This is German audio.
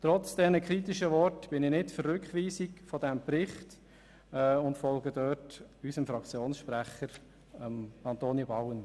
Trotz dieser kritischen Worte bin ich nicht für eine Rückweisung des Berichts und folge unserem Fraktionssprecher Antonio Bauen.